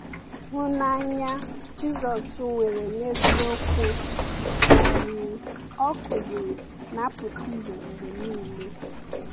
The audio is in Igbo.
Hụnanya Jisọs nwere n’eziokwu um o kụziri na-apụta ìhè mgbe niile.